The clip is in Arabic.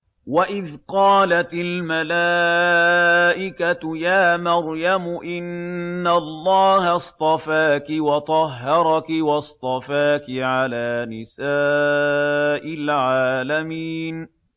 وَإِذْ قَالَتِ الْمَلَائِكَةُ يَا مَرْيَمُ إِنَّ اللَّهَ اصْطَفَاكِ وَطَهَّرَكِ وَاصْطَفَاكِ عَلَىٰ نِسَاءِ الْعَالَمِينَ